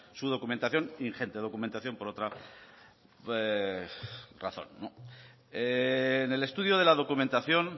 su documentación ingente documentación por otra razón en el estudio de la documentación